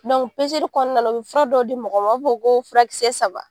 o kɔnɔna na u bɛ fura dɔ di mɔgɔ ma ko furakɛ kisɛ saba